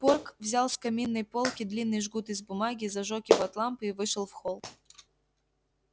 порк взял с каминной полки длинный жгут из бумаги зажёг его от лампы и вышел в холл